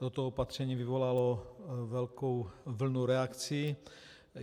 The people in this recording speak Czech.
Toto opatření vyvolalo velkou vlnu reakcí.